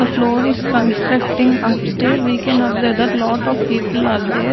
The floor is constructing upstairs we can observe that lot of people are there.